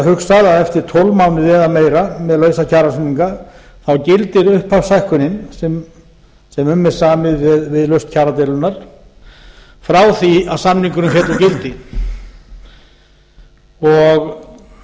hugsað að eftir tólf mánuði eða meira með lausa kjarasamninga gildir upphafshækkunin sem um er samið við lausn kjaradeilunnar frá því að samningurinn féll úr gildi